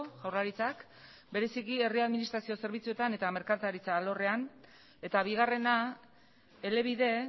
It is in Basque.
jaurlaritzak bereziki herri administrazio zerbitzuetan eta merkataritza alorrean eta bigarrena elebide